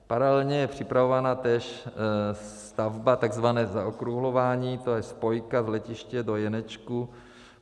Paralelně je připravována též stavba tzv. zaokrouhlování, to je spojka z letiště do Jenečku.